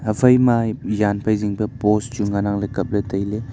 haphaima jan phai jing post chu ngan ang kaple taile.